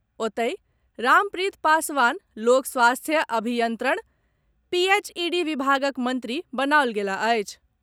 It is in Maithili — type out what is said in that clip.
ओतहि, रामप्रित पासवान लोक स्वास्थ्य अभियंत्रण, पीएचईडी विभागक मंत्री बनाओल गेलाह अछि।